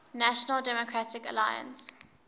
national democratic alliance